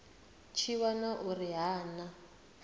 tshi wana uri ha na